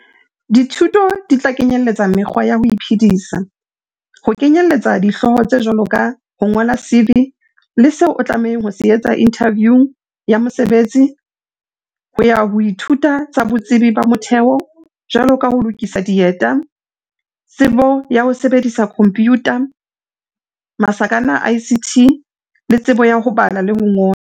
Dithuto di tla kenyeletsa mekgwa ya ho iphedisa - ho kenyeletsa dihlooho tse jwalo ka ho ngola CV le seo o tlamehang ho se etsa inthaviung ya mosebetsi, ho ya ho dithuto tsa botsebi ba motheo, jwalo ka ho lokisa dieta, tsebo ya ho sebedisa khomphiutha ICT, le tsebo ya ho bala le ho ngola.